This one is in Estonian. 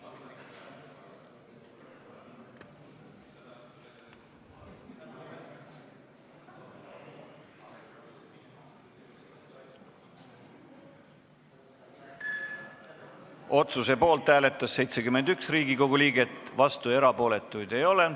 Hääletustulemused Otsuse poolt hääletas 71 Riigikogu liiget, vastuolijaid ega erapooletuid ei ole.